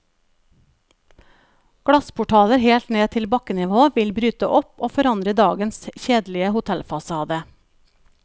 Glassportaler helt ned til bakkenivå vil bryte opp og forandre dagens kjedelige hotellfasade.